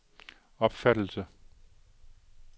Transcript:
opfattelse